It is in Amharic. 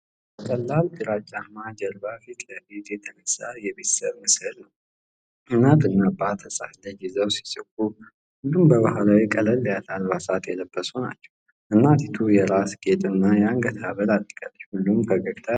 በቀላል ግራጫማ ጀርባ ፊት ለፊት የተነሳ የቤተሰብ ምስል ነው። እናትና አባት ሕፃን ልጅ ይዘው ሲስቁ፣ ሁሉም በባህላዊ ቀለል ያሉ አልባሳት የለበሱ ናቸው። እናቲቱ የራስ ጌጥ እና የአንገት ሀብል አድርጋለች፣ ሁሉም ፈገግታ ያሳያሉ።